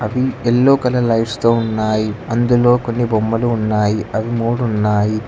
Yellow colour lights తో ఉన్నాయి అందులో కొన్ని బొమ్మలు ఉన్నాయి అవి మూడు ఉన్నాయి.